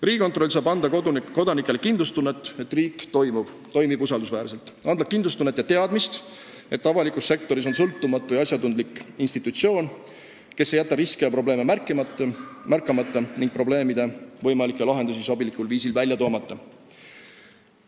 Riigikontroll saab anda kodanikele kindlustunnet ja teadmist, et riik toimib usaldusväärselt, et avalikus sektoris on sõltumatu ja asjatundlik institutsioon, kes ei jäta riske ja probleeme märkamata ega sobilikul viisil võimalikke lahendusi leidmata.